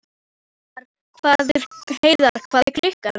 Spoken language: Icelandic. Varðmaður leit upp og í átt til hans.